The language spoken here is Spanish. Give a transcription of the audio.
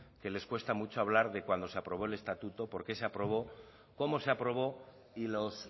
que les cuesta mucho hablar de cuando se aprobó el estatuto por qué se aprobó cómo se aprobó y los